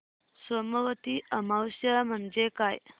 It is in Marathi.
सोमवती अमावस्या म्हणजे काय